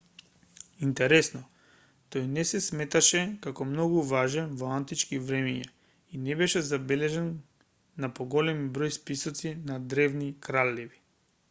интересно тој не се сметаше како многу важен во антички времиња и не беше забележан на поголемиот број списоци на древни кралеви